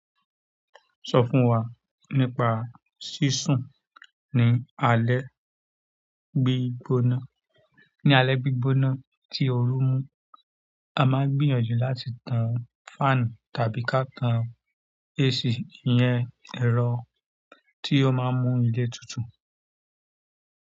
Sọ fún wa nípa sísun ní alé gbígbóná. Ní alẹ́ gbígbóná tí oru mú, a máa gbìyànjú láti tan fáànù tàbí ká tan AC. Iyẹn ẹ̀rọ tí ó máa ń mú ilé tutù.